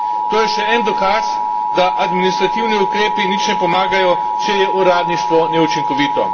To je še en dokaz, da administrativni ukrepi nič ne pomagajo, če je uradništvo neučinkovito.